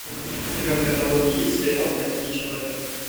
у тебя в каталоге есть сериал почти человек